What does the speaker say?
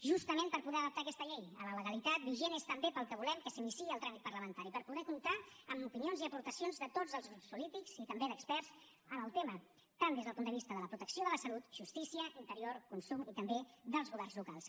justament per poder adaptar aquesta llei a la legalitat vigent és també pel que volem que s’iniciï el tràmit parlamentari per poder comptar amb opinions i aportacions de tots els grups polítics i també d’experts en el tema tant des del punt de vista de protecció de la salut justícia interior consum i també dels governs locals